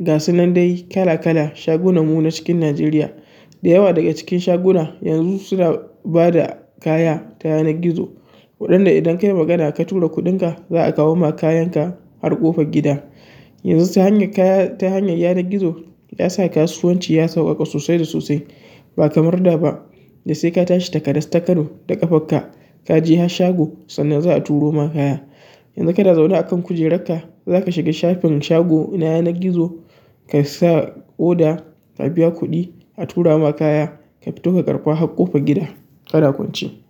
gasu nan dai kala-kala shagunan mu na cikin Najeriya. Da yawa daga cikin shaguna yanzu suna ba da kaya ta yanar gizo, waɗanda idan ka yi magana ka tura kuɗinka za a kawo ma kayanka har ƙofar gida. Yanzu ta hanyar kaya ta hanyar yanar gizo ya sa kasuwanci ya sauƙaƙa sosai da sosai ba kamar da ba da sai ka tashi takadas-takano da ƙafarka, ka je har shago sannan za a turo ma kaya. Yanzu kana zaune a kan kujerarka, zaka shiga shafin shago na yanar gizo ka sa order, ka biya kuɗi, a tura ma kaya ka fito ka karɓa har ƙofan gida. Kana kwance.